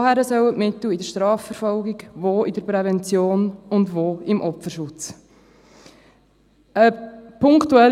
Woher sollen die Mittel für die Strafverfolgung, die Prävention und den Opferschutz herkommen?